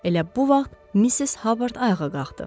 Elə bu vaxt Mrs. Hubbard ayağa qalxdı.